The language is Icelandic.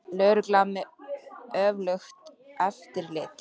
Lögreglan með öflugt eftirlit